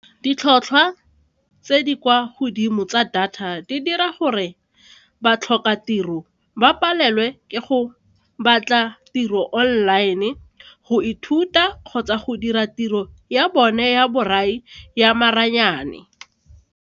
Ditlhotlhwa tse di kwa godimo tsa data di dira gore batlhokatiro ba palelwe ke go batla tiro online go ithuta kgotsa go dira tiro ya bone ya borai ya maranyane.